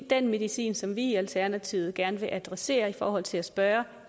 den medicin som vi i alternativet gerne vil adressere i forhold til at spørge